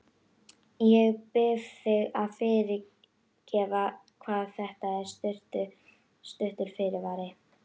Ég bið þig að fyrirgefa hvað þetta er stuttur fyrirvari.